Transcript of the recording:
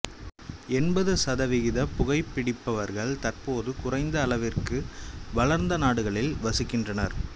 எண்பது சதவிகித புகைப்பிடிப்பவர்கள் தற்போது குறைந்த அளவிற்கு வளர்ந்த நாடுகளில் வசிக்கின்றனர்